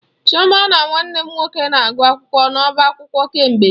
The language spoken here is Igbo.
Chioma na Nwanne m nwoke na-agụ akwụkwọ n'ọba akwụkwọ kemgbe.